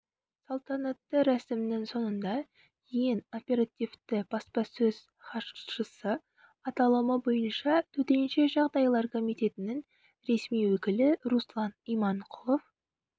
салтанатты рәсіміһнің соңында ең оперативті баспасөз хатшысы аталымы бойынша төтенше жағдайлар комитетінің ресми өкілі руслан иманқұлов